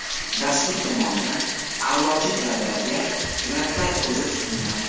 Dastur tomonidan a’lochi talabalarga grantlar ko‘zda tutilgan.